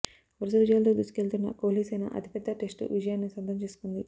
వరుస విజయాలతో దూసుకెళ్తున్న కోహ్లిసేన అతిపెద్ద టెస్టు విజయాన్ని సొంతం చేసుకుంది